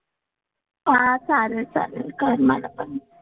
हां चालेल चालेल. कर मला पण.